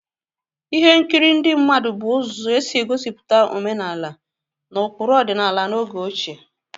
Folk dramas were means of portraying traditional traditional cultures and values in the ancient time.